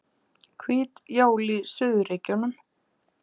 Hvít jól í suðurríkjunum